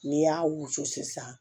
N'i y'a wusu sisan